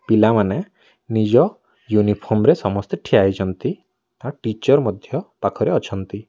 ପିଲାମାନେ ନିଜ ୟୁନିଫର୍ମ ରେ ସମସ୍ତେ ଠିଆ ହୋଇଛନ୍ତି। ଆଉ ଟିଚର୍ ମଧ୍ୟ ପାଖରେ ଅଛନ୍ତି।